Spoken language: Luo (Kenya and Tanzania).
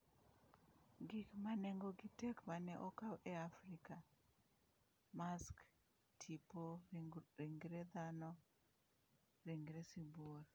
Gik ma nengogi tek ma ne okaw e Afrika: Mask, Tipo, ringre dhano, ringre sibuor